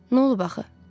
Nə olub axı?